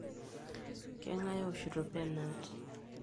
Keng'ae ooshito penalty?